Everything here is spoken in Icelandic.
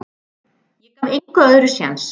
Ég gaf engu öðru séns.